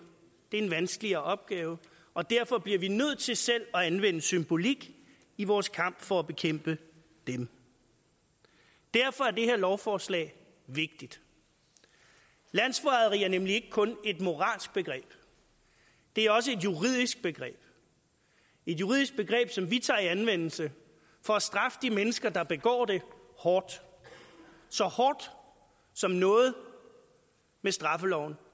er en vanskeligere opgave og derfor bliver vi nødt til selv at anvende symbolik i vores kamp for at bekæmpe dem derfor er det her lovforslag vigtigt landsforræderi er nemlig ikke kun et moralsk begreb det er også et juridisk begreb et juridisk begreb som vi tager i anvendelse for at straffe de mennesker der begår det hårdt så hårdt som noget med straffeloven